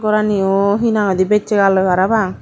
goraniyo hina hoidey bessagaloi parapang.